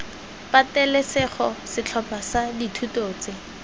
patelesego setlhopha sa dithuto tse